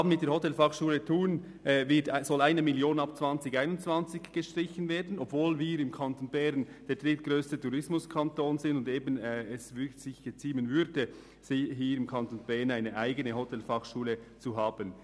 Bei der Hotelfachschule Thun sollen ab 2021 1 Mio. Franken gestrichen werden, obwohl Bern der drittgrösste Tourismuskanton ist und es sich geziemen würde, in diesem Kanton eine eigene Tourismusfachschule zu führen.